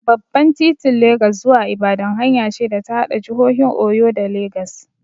Babban titin Legas zuwa Ibadan hanya ce da ta haɗa jihohin Oyo da Legas.